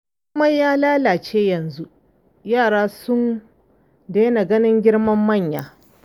Komai ya lalace yanzu, yara sun daina ganin girman manya.